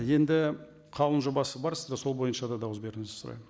енді қаулының жобасы бар сізде сол бойынша да дауыс беруіңізді сұраймын